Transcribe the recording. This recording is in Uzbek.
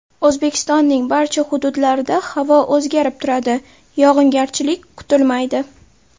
O‘zbekistonning barcha hududlarida havo o‘zgarib turadi, yog‘ingarchilik kutilmaydi.